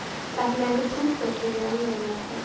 Ertu með einhvern sjúkdóm? spurði ég alvarlega hrædd.